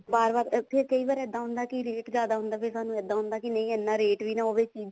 ਬਾਰ ਬਾਰ ਇੱਥੇ ਕਈ ਵਾਰ ਇੱਦਾਂ ਹੁੰਦਾ ਕੀ ਰੇਟ ਜਿਆਦਾ ਹੁੰਦਾ ਫ਼ੇਰ ਸਾਨੂੰ ਇੱਦਾਂ ਹੁੰਦਾ ਕੇ ਨਹੀਂ ਇੰਨਾ ਰੇਟ ਵੀ ਨਾ ਹੋਵੇ ਚੀਜ਼